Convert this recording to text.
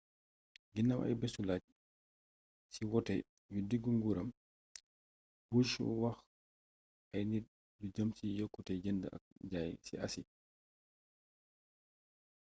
ginaaw aybésu làjj ci woote yu diggu nguuram bush wax ay nit lu jëm ci yokkute jënd ak jaay ci asi